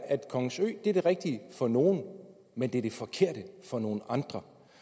at kongens ø er det rigtige for nogle men det er det forkerte for nogle andre